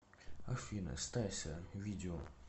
афина стася видео